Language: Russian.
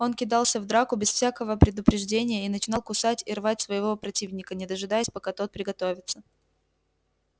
он кидался в драку без всякою предупреждения и начинал кусать и рвать своего противника не дожидаясь пока тот приготовится